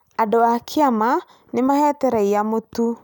Andũ a kĩama nĩ maheete raiya mũtu